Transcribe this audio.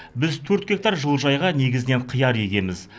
біз төрт гектар жылыжайға негізінен қияр егеміз